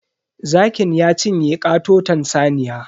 Zakin ya cinye katoton saniya.